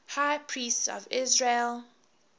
high priests of israel